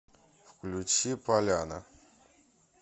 включи поляна